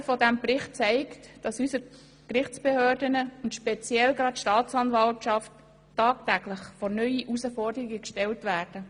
Das Lesen dieses Berichts zeigt, dass unsere Gerichtsbehörden und speziell die Staatsanwaltschaft tagtäglich vor neue Herausforderungen gestellt werden.